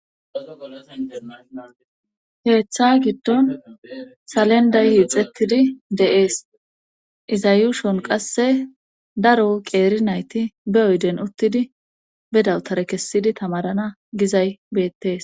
Keeththa giddon salenday hiixettidi deees iza yuushon qasse daro qeeri nayti be oyden uttidi bedawtare kessidi tamarana gizay beettees.